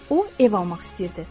O ev almaq istəyirdi.